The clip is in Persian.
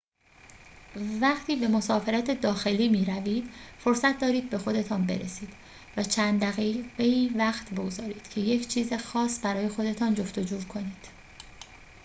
وقتی به مسافرت داخلی می‌روید فرصت دارید به خودتان برسید و چند دقیقه‌ای وقت بگذارید که یک چیز خاص برای خودتان جفت و جور کنید